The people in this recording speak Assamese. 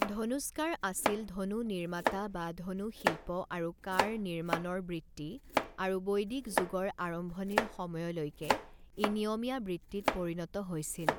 ধনুষ্কাৰ আছিল ধনু নিৰ্মাতা বা ধনু শিল্প আৰু কাঁড় নিৰ্মাণৰ বৃত্তি আৰু বৈদিক যুগৰ আৰম্ভণিৰ সময়লৈকে ই নিয়মীয়া বৃত্তিত পৰিণত হৈছিল।